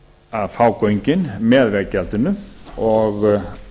að fá göngin með veggjaldinu og